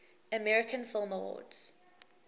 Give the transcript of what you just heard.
american film awards